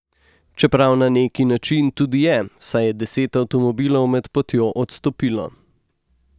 Čeprav na neki način tudi je, saj je deset avtomobilov med potjo odstopilo.